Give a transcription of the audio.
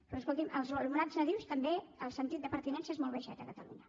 però escolti’m als alumnats nadius també el sentit de pertinença és molt baixet a catalunya